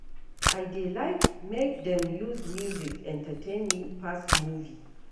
I dey like make dem use music entertain me pass movie.